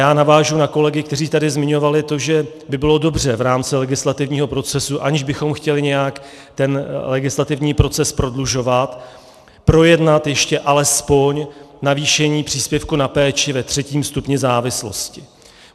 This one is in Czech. Já navážu na kolegy, kteří tady zmiňovali to, že by bylo dobře v rámci legislativního procesu, aniž bychom chtěli nějak ten legislativní proces prodlužovat, projednat ještě alespoň navýšení příspěvku na péči ve třetím stupni závislosti.